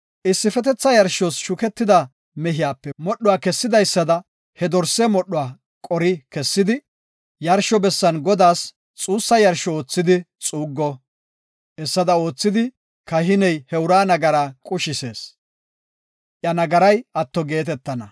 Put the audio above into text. Issifetetha yarshos shuketida mehiyape modhuwa kessidaysada he dorse modhuwa qori kessidi, yarsho bessan Godaas xuussa yarsho oothidi xuuggo. Hessada oothidi, kahiney he uraa nagaraa qushisees; iya nagaray atto geetetana.